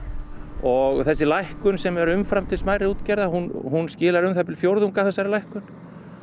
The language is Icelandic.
og þessi lækkun sem er umfram til smærri útgerða hún hún skilar um það bil fjórðungi af þessari lækkun